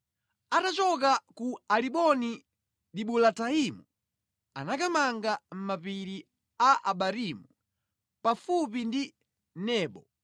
Atachoka ku Alimoni-Dibulataimu anakamanga mʼmapiri a Abarimu, pafupi ndi Nebo.